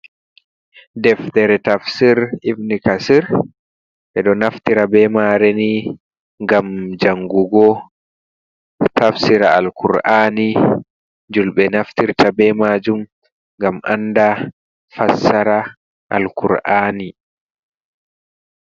Deftere tafsir Ibn Kathir. Ɓe ɗo naftira bee maare ni gam jangugo, tafsira al-Kur'aani. Julbe naftirta be maajum, gam anda fassara al-Kur'aani.